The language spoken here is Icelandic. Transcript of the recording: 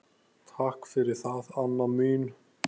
Takk fyrir það, Anna mín.